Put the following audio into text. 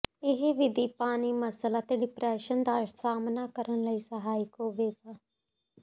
ਇਹ ਵਿਧੀ ਪਾਣੀ ਮੱਸਲ ਅਤੇ ਡਿਪਰੈਸ਼ਨ ਦਾ ਸਾਮ੍ਹਣਾ ਕਰਨ ਲਈ ਸਹਾਇਕ ਹੋਵੇਗਾ